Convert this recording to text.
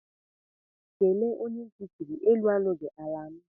kele onye nti chiri; enu anughi, ala anu.